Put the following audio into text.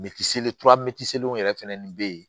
Mɛtisele yɛrɛ fɛnɛni bɛ yen